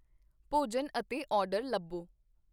ਭੋਜਨ ਅਤੇ ਆਰਡਰ ਲੱਭੋ